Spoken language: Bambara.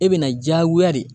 E bɛna diyagoya de